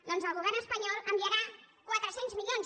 doncs el govern espanyol enviarà quatre cents milions